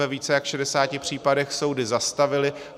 Ve více než 60 případech soudy zastavily.